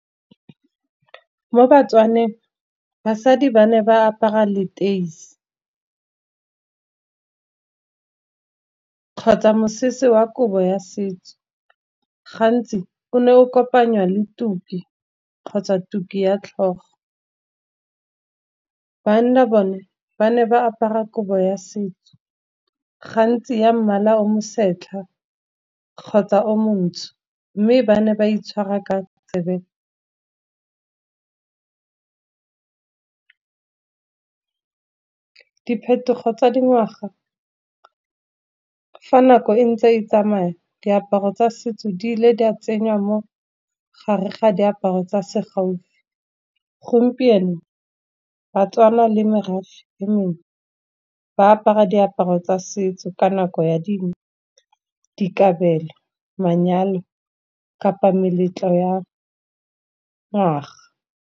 Mo batswaneng basadi ba ne ba apara leteisi kgotsa mosese wa kobo ya setso. Gantsi o ne o kopanywa le tuki kgotsa tuku ya tlhogo. Banna bone ba ne ba apara kobo ya setso, gantsi ya mmala o mosetlha kgotsa o montsho, mme ba ne ba itshwara ka . Diphetogo tsa dingwaga fa nako e ntse e tsamaya, diaparo tsa setso di ile di a tsenyiwa mo gare ga diaparo tsa se gaufi. Gompieno Batswana le merafe e mengwe, ba apara diaparo tsa setso ka nako ya dingwe di kabelo, manyalo kapa meletlo ya naga.